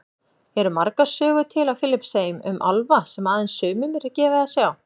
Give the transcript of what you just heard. Eru margar sögur til á Filippseyjum um álfa sem aðeins sumum er gefið að sjá?